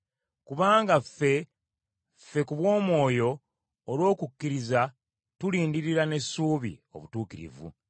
Kubanga ffe, ffe ku bw’Omwoyo olw’okukkiriza tulindirira n’essuubi obutuukirivu.